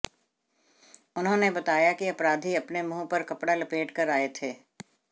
उन्होंने बताया कि अपराधी अपने मुंह पर कपड़ा लपेट कर आए थे